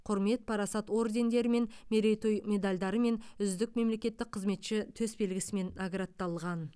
құрмет парасат ордендерімен мерейтой медальдармен үздік мемлекеттік қызметші төсбелгісімен наградталған